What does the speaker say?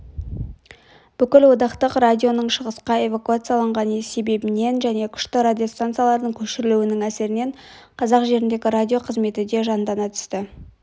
бүкілодақтық радионың шығысқа эвакуацияланған себебінен және күшті радиостанциялардың көшірілуінің әсерінен қазақ жеріндегі радио қызметі де жандана түсті